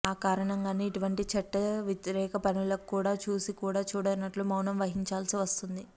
ఆ కారణంగానే ఇటువంటి చట్ట వ్యతిరేక పనులను కూడా చూసి కూడా చూడనట్లు మౌనం వహించాల్సి వస్తోంది